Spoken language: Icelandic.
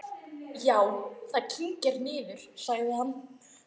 Já, það kyngir niður, sagði hann.